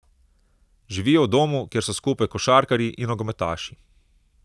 Živijo v domu, kjer so skupaj košarkarji in nogometaši.